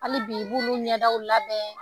Hali b'i b'olu ɲɛdaw labɛn